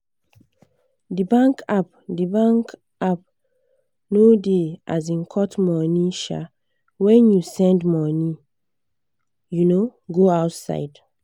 de bankapp de bankapp no da um cut money um when you send money um go outside